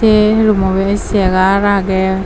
sey rummot bidiri segar agey.